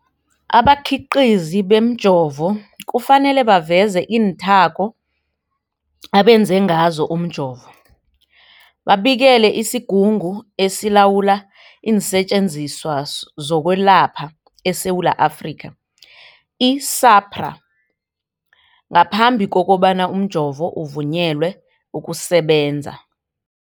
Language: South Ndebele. Abakhiqizi bemijovo kufanele baveze iinthako abenze ngazo umjovo, babikele isiGungu esiLawula iinSetjenziswa zokweLapha eSewula Afrika, i-SAHPRA, ngaphambi kobana umjovo uvunyelwe ukusebenza.